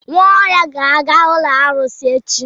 Nwaohia ga-aga ụlọ arụsị echi.